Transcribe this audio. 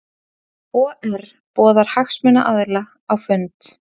OR boðar hagsmunaaðila á fund